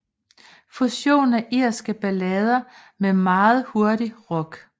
Fusion af irske ballader med meget hurtig rock